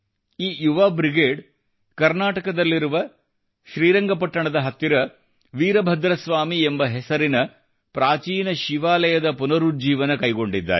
ಈ ಯುವಾ ಬ್ರಿಗೇಡ್ ಕರ್ನಾಟಕದಲ್ಲಿರುವ ಶ್ರೀರಂಗಪಟ್ಟಣದ ಹತ್ತಿರ ವೀರಭದ್ರ ಸ್ವಾಮಿ ಎಂಬ ಹೆಸರಿನ ಪ್ರಾಚೀನ ಶಿವಾಲಯದ ಪುನರುಜ್ಜೀವನ ಕೈಗೊಂಡಿದ್ದಾರೆ